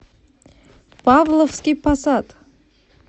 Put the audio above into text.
павловский посад